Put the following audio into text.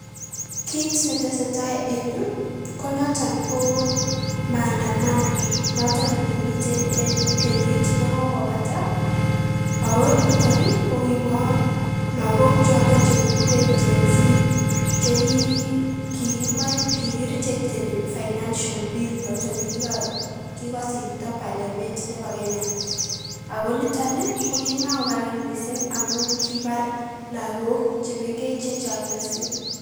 Kiit ne tesetai en yu, ko noton ko maandamano noton ne kimiten en kenyit ne kokobata, ako nitoni ko kibo lagok choto che kiguren gen z, che ki kikimach kikirejecteni financial bill noto nekikosirto parliament nebo Kenya. Ako nitoni ko kimako karan mising amun kibar lagok che mengech che chang mising.